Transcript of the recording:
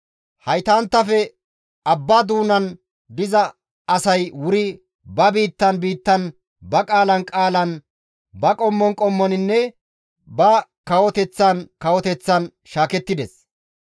Haytanttafe abba doonan diza asay wuri ba biittan biittan, ba qaalan qaalan, ba qommon qommoninne, ba kawoteththan kawoteththan shaakettides.